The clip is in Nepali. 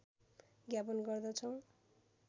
ज्ञापन गर्दछौँ